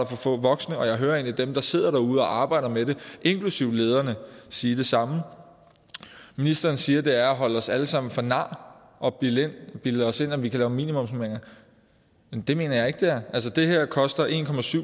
for få voksne og jeg hører egentlig dem der sidder derude og arbejder med det inklusive lederne sige det samme ministeren siger at det er at holde os alle sammen for nar at bilde bilde os ind at vi kan lave minimumsnormeringer men det mener jeg ikke det er altså det her koster en